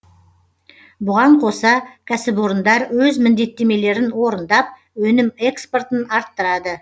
бұған қоса кәсіпорындар өз міндеттемелерін орындап өнім экспортын арттырады